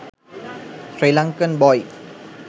srilankan boy